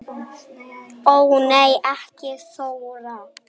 Ó nei ekki Þóra